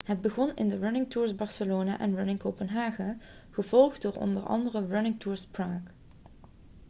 het begon in de running tours barcelona en running copenhagen kopenhagen gevolgd door onder andere running tours prague praag